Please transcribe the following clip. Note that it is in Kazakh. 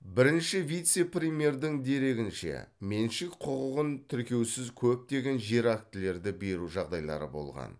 бірінші вице премьердің дерегінше меншік құқығын тіркеусіз көптеген жер актілерді беру жағдайлары болған